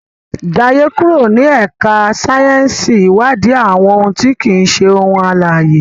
Jaye kúrò ní ẹka sáyẹnsì iwadi àwọn òun ti kii ṣe ohun alãye.